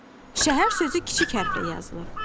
Məsələn, Şəhər sözü kiçik hərflə yazılır.